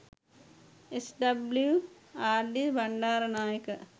SWRD .Bandaranaike